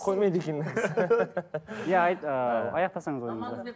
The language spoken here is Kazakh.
қоймайды екен иә айт ыыы аяқтасаңыз